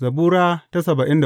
Zabura Sura